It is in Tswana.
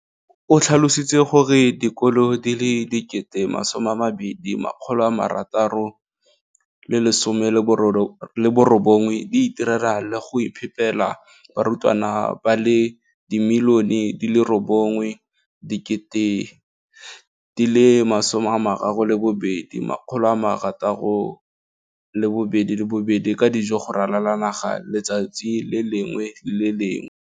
o tlhalositse gore dikolo di le 20 619 di itirela le go iphepela barutwana ba le 9 032 622 ka dijo go ralala naga letsatsi le lengwe le le lengwe.